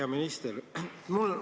Hea minister!